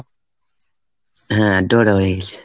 হ্যাঁ draw draw হয়ে গেছে।